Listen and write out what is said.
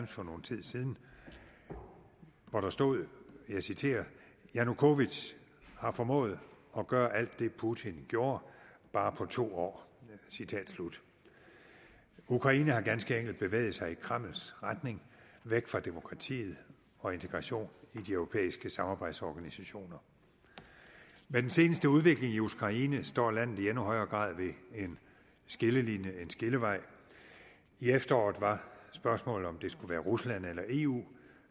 for nogen tid siden hvor der stod og jeg citerer janukovitj har formået at gøre alt det putin gjorde bare på to år citat slut ukraine har ganske enkelt bevæget sig i kremls retning væk fra demokratiet og integration i de europæiske samarbejdsorganisationer med den seneste udvikling i ukraine står landet i endnu højere grad ved en skillevej i efteråret var spørgsmålet om det skulle være rusland eller eu